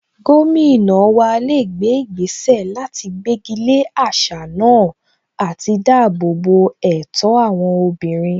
Gómìnà wa lè gbé ìgbésẹ̀ láti gbégi lé àṣà náà àti dáàbò bo ẹ̀tọ́ àwọn obìnrin